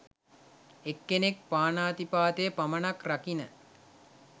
එක්කෙනෙක් පානාතිපාතය පමණක් රකින